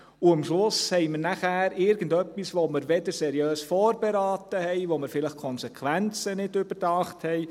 Und am Schluss haben wir dann irgendetwas, das wir nicht seriös vorberaten und dessen Konsequenzen wir vielleicht nicht überdacht haben.